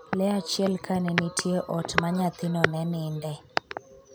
Le achiel kane nitie ot ma nyathino ne nindee